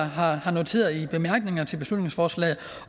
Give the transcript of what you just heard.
har har noteret i bemærkningerne til beslutningsforslaget